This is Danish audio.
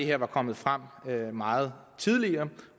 her var kommet frem meget tidligere